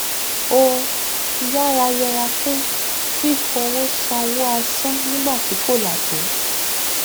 ó yára yèra fún fífòwósòwò asán nígbà tí kòlà tó